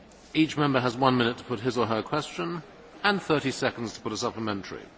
Each Member has one minute to put his or her question, and 30 seconds to put a supplementary.